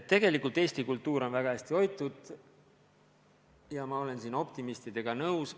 Tegelikult eesti kultuur on väga hästi hoitud ja ma olen selles osas optimistidega nõus.